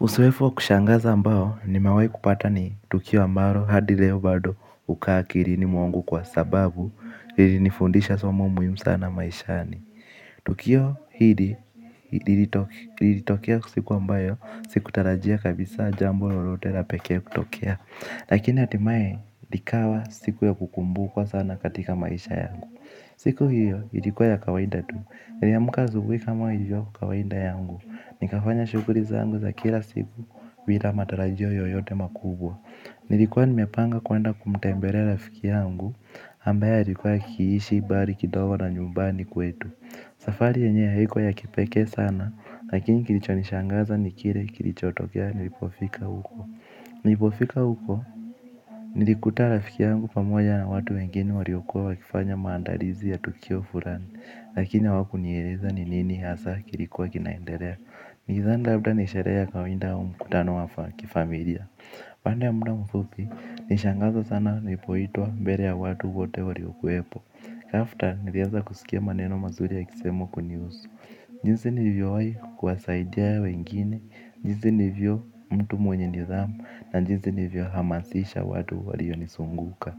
Uzoefu wa kushangaza ambao nimewahi kupata ni tukio ambalo hadi leo bado huka akilini mwangu kwa sababu ilinifundisha somo muhimu sana maishani. Tukio hili lilitokea siku ambayo sikutarajia kabisa jambo lolote la pekee kutokea. Lakini hatimaye likawa siku ya kukumbukwa sana katika maisha yangu siku hiyo ilikua ya kawaida tu niliamka asubuhi kama ilivyo kawaida yangu nikafanya shughuli zangu za kila siku bila matarajio yoyote makubwa. Nilikuwa nimepanga kwenda kumtembelea rafiki yangu ambaye alikuwa akiishi mbali kidogo na nyumbani kwetu. Safari yenyewe haikua ya kipeke sana. Lakini kilichonishangaza ni kile kilichotokea nilipofika huko. Nilipofika huko nilikuta rafiki yangu pamoja na watu wengene waliokua wakifanya maandalizi ya tukio fulani. Lakini wakunieleza ni nini hasa kilikuwa kinaendelea nilidhani labda nisherehe ya kawaida mkutano wa kifamilia baada ya muda mfupi, nishangazwa sana nilipoitwa mbele ya watu wote waliokuwepo After, niliaza kusikia maneno mazuri yakisemwa kunihusu. Jinsi nilivyowahi kuwasaidia wengine, jinsi nilivyo mtu mwenye nidhamu na jinsi nilivyo hamasisha watu walionizunguka.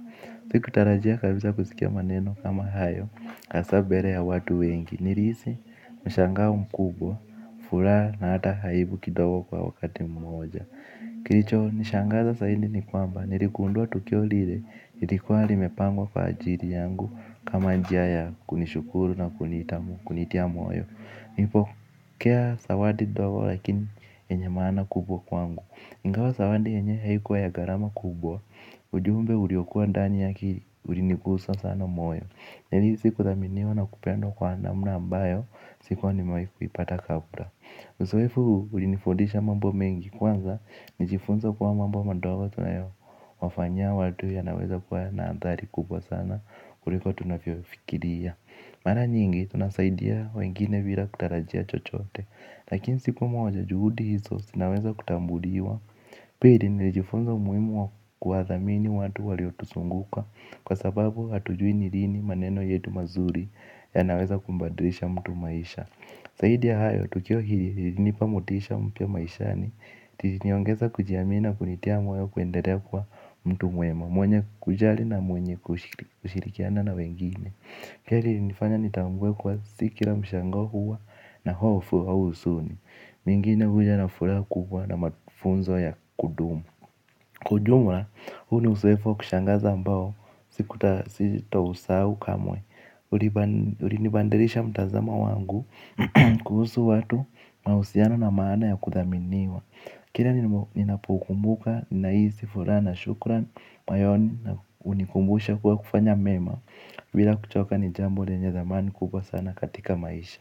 Sikutarajia kabisa kusikia maneno kama hayo hasa mbele ya watu wengi. Nilihisi mshangao mkubwa furaha hata aibu kidogo kwa wakati mmoja. Kilicho nishangaza zaidi ni kwamba niligundua tukio lile lilikuwa limepangwa kwa ajili yangu kama njia ya kunishukuru na kunitia moyo nilipokea zawadi ndogo lakini yenye maana kubwa kwangu. Ingawa zawadi yenyewe haikuwa ya gharama kubwa ujumbe uliokua ndani yake ulinigusa sana moyo nillihisi kuthaminiwa na kupendwa kwa namna ambayo sikuwahi nimewahi kuipata kabla. Uzoefu ulinifundisha mambo mengi kwanza. Nilijifunza kuwa mambo madogo tunayo wafanyia watu yanaweza kuwa na athari kubwa sana kuliko tunavyofikiria. Mara nyingi tunasaidia wengine bila kutarajia chochote. Lakini siku moja juhudi hizo zinaweza kutambuliwa pia nilijifunza umuhimu wa kuyathamini watu waliotuzunguka kwa sababu hatujui ni lini maneno yetu mazuri yanaweza kubadilisha mtu maisha zaidi ya hayo tukio hili lilinipa motisha mpya maishani liliniongeza kujiami na kunitia moyo kuendadea kuwa mtu mwema mwenye kujali na mwenye kushirikiana na wengine keli ilinifanya nitambue kuwa si kila mshangao huwa na hofu au huzuni. Mingine huja na furaha kubwa na mafunzo ya kudumu. Kwa ujumla, huu ni uzoefuwa kushangaza ambao sitausahau kamwe. Ulinibadilisha mtazamo wangu kuhusu watu mahusiano na maana ya kuthaminiwa. Kila ninapokumbuka, ninahisi furaha na shukran moyoni na hunikumbusha kuwa kufanya mema bila kuchoka ni jambo lenye thamani kubwa sana katika maisha.